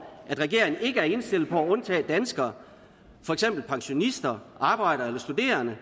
at regeringen ikke er indstillet på at undtage danskere for eksempel pensionister arbejdere eller studerende